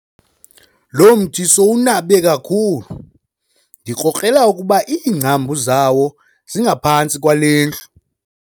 Lo mthi sowunabe kakhulu ndikrokrela ukuba iingcambu zawo zingaphantsi kwale ndlu.